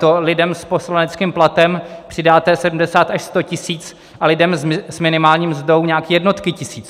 To lidem s poslaneckým platem přidáte 70 až 100 tisíc a lidem s minimální mzdou nějaký jednotky tisíc.